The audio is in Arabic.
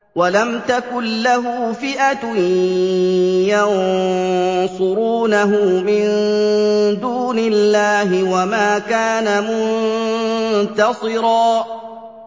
وَلَمْ تَكُن لَّهُ فِئَةٌ يَنصُرُونَهُ مِن دُونِ اللَّهِ وَمَا كَانَ مُنتَصِرًا